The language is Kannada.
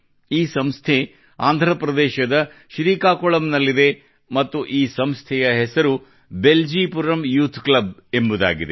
ಈ ಸಂಸ್ಥೆ ಆಂಧ್ರ ಪ್ರದೇಶದ ಶ್ರೀಕಾಕುಳಂನಲ್ಲಿದೆ ಮತ್ತು ಈ ಸಂಸ್ಥೆಯ ಹೆಸರು ಬೆಲ್ಜಿಪುರಂ ಯೂಥ್ ಕ್ಲಬ್ ಎಂಬುದಾಗಿದೆ